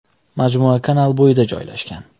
Majmua kanal bo‘yida joylashgan.